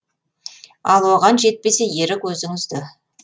ал оған жетпесе ерік өзіңізде